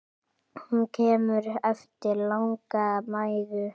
Hún kemur eftir langa mæðu.